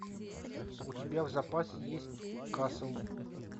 у тебя в запасе есть касл